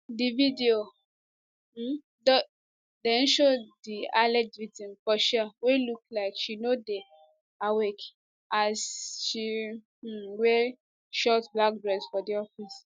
di video um den show di alleged victim for chair wey look like she no dey awake as she um wear short black dress for di office